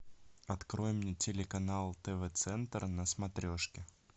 открой мне телеканал тв центр на смотрешке